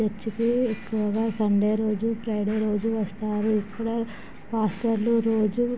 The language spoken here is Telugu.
చర్చి కి ఎక్కువుగా సండే రోజు ఫ్రైడే రోజు వస్తారు. ఇక్కడ పాస్టర్లు రోజు--